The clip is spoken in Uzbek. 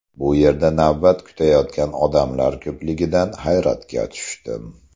Bu yerda navbat kutayotgan odamlar ko‘pligidan hayratga tushdim.